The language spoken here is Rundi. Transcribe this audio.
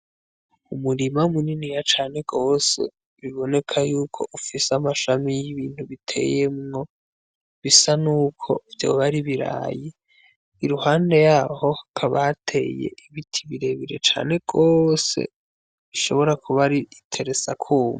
Umurima muniniya cane gose biboneka y’uko ufise amashami Y’ibintu biteyemwo bisa nuko vyoba ari ibirayi iruhande yaho hakaba hateye ibiti birebire cane gose bishobora kuba iteresakubu.